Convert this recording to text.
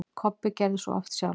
Kobbi gerði svo oft sjálfur.